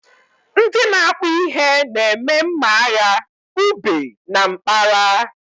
Ndị na akpu ihe na-eme mma agha ube na mkpara